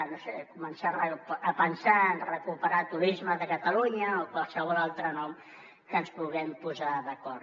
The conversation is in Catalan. no ho sé començar a pensar en recuperar turisme de catalunya o qualsevol altre nom en què ens puguem posar d’acord